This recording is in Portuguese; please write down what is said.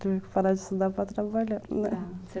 Tive que parar de estudar para trabalhar, né?